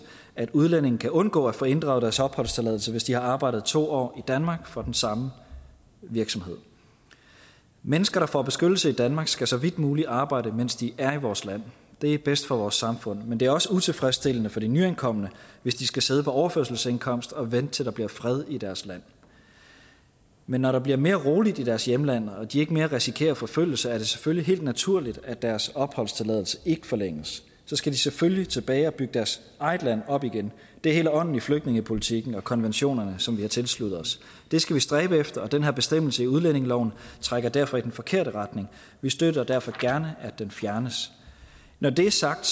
at udlændinge kan undgå at få inddraget deres opholdstilladelse hvis de har arbejdet to år i danmark for den samme virksomhed mennesker der får beskyttelse i danmark skal så vidt muligt arbejde mens de er i vores land det er bedst for vores samfund men det er også utilfredsstillende for de nyankomne hvis de skal sidde på overførselsindkomst og vente til der bliver fred i deres land men når der bliver mere roligt i deres hjemland og de ikke mere risikerer forfølgelse er det selvfølgelig helt naturligt at deres opholdstilladelse ikke forlænges så skal de selvfølgelig tilbage og bygge deres eget land op igen det er hele ånden i flygtningepolitikken og konventionerne som vi har tilsluttet os det skal vi stræbe efter og den her bestemmelse i udlændingeloven trækker derfor i den forkerte retning vi støtter derfor gerne at den fjernes når det er sagt